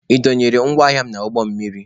Ị dọnyere m ngwa ahịa m n'ụgbọ mmiri?